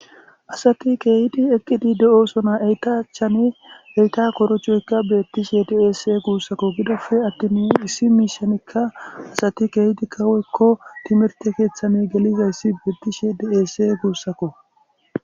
Asati keehidi eqqidi de'osona eytachane eyta korocoyka beettishe deese guussakko gidofe attin issi miishanikka asati keehidi kaweykko timirte keeththani gelizayssi beettishe deese guussakko.